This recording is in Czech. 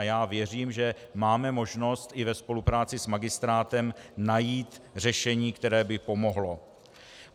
A já věřím, že máme možnost i ve spolupráci s magistrátem najít řešení, které by pomohlo.